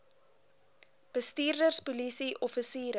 bestuurders polisie offisiere